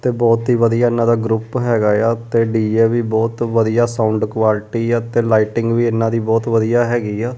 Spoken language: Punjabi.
ਤੇ ਬਹੁਤ ਹੀ ਵਧੀਆ ਇਹਨਾਂ ਦਾ ਗਰੁੱਪ ਹੈਗਾ ਆ ਤੇ ਡੀ_ਜੇ ਵੀ ਬਹੁਤ ਵਧੀਆ ਸਾਊਂਡ ਕੁਆਲਿਟੀ ਆ ਤੇ ਲਾਈਟਿੰਗ ਵੀ ਇਹਨਾਂ ਦੀ ਬਹੁਤ ਵਧੀਆ ਹੈਗੀ ਆ।